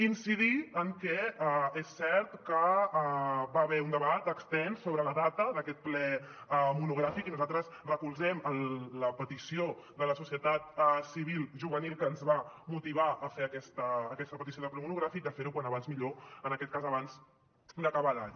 incidir en que és cert que hi va haver un debat extens sobre la data d’aquest ple monogràfic i nosaltres recolzem la petició de la societat civil juvenil que ens va motivar a fer aquesta petició de ple monogràfic de fer ho com més aviat millor en aquest cas abans d’acabar l’any